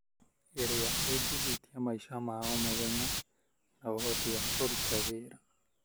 ĩrĩa ĩngĩhutia maica ma o mũthenya na ũhoti wa kũruta wĩra.